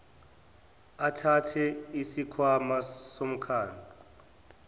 athathe isikhwama somphako